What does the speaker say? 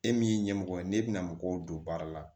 E min ye ɲɛmɔgɔ ye n'e bɛna mɔgɔw don baara la